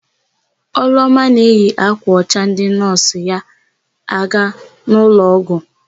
Ọlụoma na eyi ákwà ọcha ndị nọọsụ ya aga n'ụlọọgwụ.